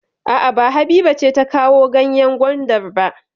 A'a, ba Habiba ce ta kawo ganyen gwandar ba.